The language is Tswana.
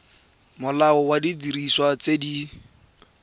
molao wa didiriswa tse di